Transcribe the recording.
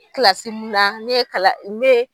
Kilasi min na ne ye kalan den ye.